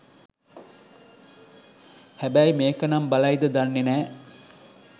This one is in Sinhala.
හැබැයි මේක නම් බලයිද දන්නේ නෑ